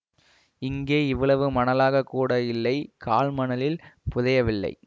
இங்கே இவ்வளவு மணலாகக் கூட இல்லை கால் மணலில் புதையவில்லை